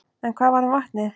En hvað varð um vatnið?